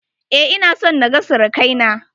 Eh, ina son na ga sirakai na.